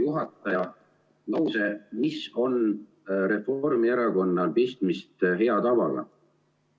Juhataja lause "Mis on Reformierakonnal pistmist hea tavaga?".